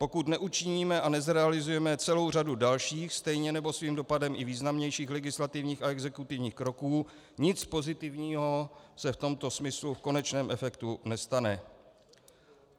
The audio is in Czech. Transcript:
Pokud neučiníme a nezrealizujeme celou řadu dalších, stejně nebo svým dopadem i významnějších legislativních a exekutivních kroků, nic pozitivního se v tomto smyslu v konečném efektu nestane.